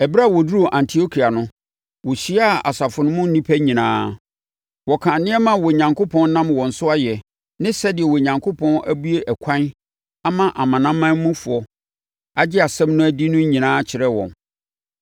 Ɛberɛ a wɔduruu Antiokia no, wɔhyiaa asafo no mu nnipa nyinaa. Wɔkaa nneɛma a Onyankopɔn nam wɔn so ayɛ, ne sɛdeɛ Onyankopɔn abue ɛkwan ama amanamanmufoɔ agye asɛm no adi no nyinaa kyerɛɛ wɔn.